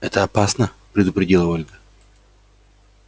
это опасно предупредила ольга